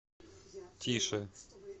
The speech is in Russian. тише